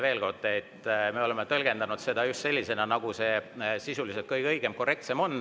Veel kord: me oleme tõlgendanud seda just sellisena, nagu sisuliselt kõige õigem ja korrektsem on.